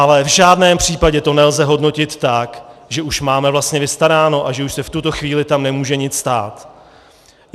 Ale v žádném případě to nelze hodnotit tak, že už máme vlastně vystaráno a že už se v tuto chvíli tam nemůže nic stát.